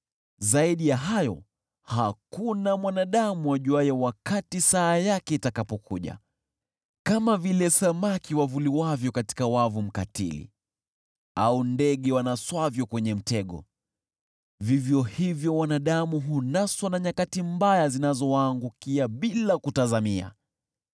Zaidi ya hayo, hakuna mwanadamu ajuaye wakati saa yake itakapokuja: Kama vile samaki wavuliwavyo katika wavu mkatili, au ndege wanaswavyo kwenye mtego, vivyo hivyo wanadamu hunaswa na nyakati mbaya zinazowaangukia bila kutazamia.